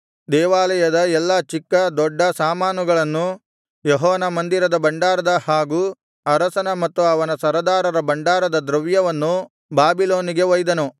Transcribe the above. ದೇವಾಲಯದ ಎಲ್ಲಾ ಚಿಕ್ಕ ದೊಡ್ಡ ಸಾಮಾನುಗಳನ್ನೂ ಯೆಹೋವನ ಮಂದಿರದ ಭಂಡಾರದ ಹಾಗೂ ಅರಸನ ಮತ್ತು ಅವನ ಸರದಾರರ ಭಂಡಾರದ ದ್ರವ್ಯವನ್ನೂ ಬಾಬಿಲೋನಿಗೆ ಒಯ್ದನು